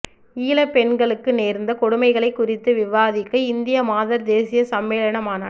ஈழப் பெண்களுக்கு நேர்ந்த கொடுமைகள் குறித்து விவாதிக்க இந்திய மாதர் தேசிய சம்மேளன மாநாடு